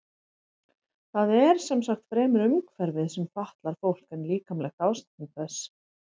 Það er sem sagt fremur umhverfið sem fatlar fólk en líkamlegt ástand þess.